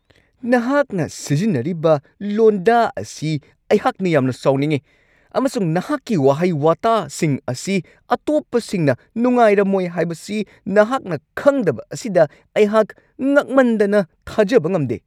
ꯅꯍꯥꯛꯅ ꯁꯤꯖꯤꯟꯅꯔꯤꯕ ꯂꯣꯟꯗꯥ ꯑꯁꯤ ꯑꯩꯍꯥꯛꯅ ꯌꯥꯝꯅ ꯁꯥꯎꯅꯤꯡꯉꯤ ꯑꯃꯁꯨꯡ ꯅꯍꯥꯛꯀꯤ ꯋꯥꯍꯩ-ꯋꯥꯇꯥꯁꯤꯡ ꯑꯁꯤ ꯑꯇꯣꯞꯄꯁꯤꯡꯅ ꯅꯨꯡꯉꯥꯏꯔꯝꯃꯣꯏ ꯍꯥꯢꯕꯁꯤ ꯅꯍꯥꯛꯅ ꯈꯪꯗꯕ ꯑꯁꯤꯗ ꯑꯩꯍꯥꯛ ꯉꯛꯃꯟꯗꯅ ꯊꯥꯖꯕ ꯉꯝꯗꯦ ꯫